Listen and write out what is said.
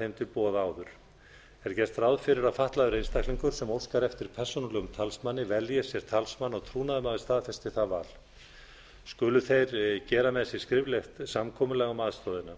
þeim til boða áður þar er gert ráð fyrir að fatlaður einstaklingur sem óskar eftir persónulegum talsmanni velji sér talsmann og trúnaðarmaður staðfesti það val skulu þeir gera með sér skriflegt samkomulag um aðstoðina